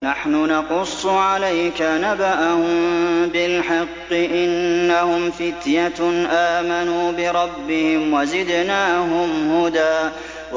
نَّحْنُ نَقُصُّ عَلَيْكَ نَبَأَهُم بِالْحَقِّ ۚ إِنَّهُمْ فِتْيَةٌ آمَنُوا بِرَبِّهِمْ وَزِدْنَاهُمْ هُدًى